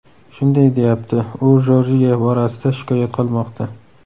shunday deyapti: U Jorjiya borasida shikoyat qilmoqda.